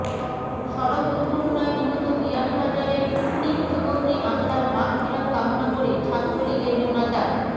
সড়ক দূর্ঘটনায় নিহত বিয়ানীবাজারের তিন যুবকরে আত্মার মাগফিরাত কামনা করে ছাত্রলীগের মোনাজাত